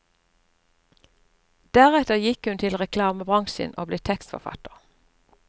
Deretter gikk hun til reklamebransjen og ble tekstforfatter.